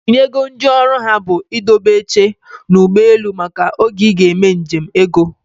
Ị nyego ndị ọrụ ha bụ i dobe oche n'ụgbọelu maka oge ị ga-eme nje m ego?